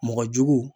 Mɔgɔ jugu